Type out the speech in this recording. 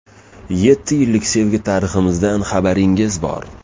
Yetti yillik sevgi tariximizdan xabaringiz bor.